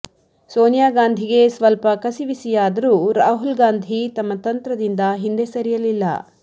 ಸೋನಿಯಾ ಗಾಂಧಿಗೆ ಸ್ವಲ್ಪ ಕಸಿವಿಸಿಯಾದರೂ ರಾಹುಲ್ ಗಾಂಧಿ ತಮ್ಮ ತಂತ್ರದಿಂದ ಹಿಂದೆ ಸರಿಯಲಿಲ್ಲ